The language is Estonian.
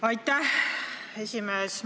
Aitäh, esimees!